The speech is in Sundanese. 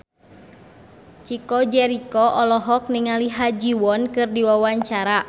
Chico Jericho olohok ningali Ha Ji Won keur diwawancara